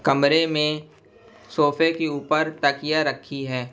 कमरे में सोफे के ऊपर तकिया रखी है।